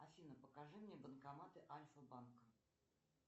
афина покажи мне банкоматы альфа банка